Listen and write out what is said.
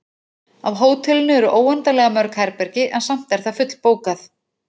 Á hótelinu eru óendanlega mörg herbergi, en samt er það fullbókað.